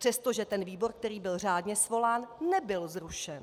Přestože ten výbor, který byl řádně svolán, nebyl zrušen.